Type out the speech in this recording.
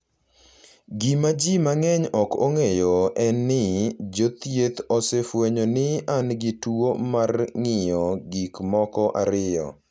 Gima ji mang’eny ok ong’eyo en ni, jo thieth osefwenyo ni an gi tuo mar ng’iyo gik moko ariyo,